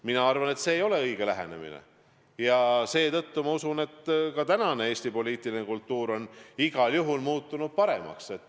Mina arvan, et teie lähenemine ei ole õige, ja seetõttu ma usun, et Eesti poliitiline kultuur on igal juhul muutunud paremaks.